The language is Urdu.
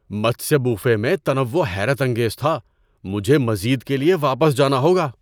متسیہ بوفے میں تنوع حیرت انگیز تھا! مجھے مزید کے لیے واپس جانا ہوگا۔